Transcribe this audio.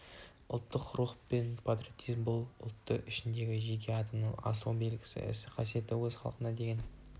ұлттық рух пен ұлттық патриотизм бұл ұлттың ішіндегі жеке адамның асыл белгісі мен қасиеті өз халқына деген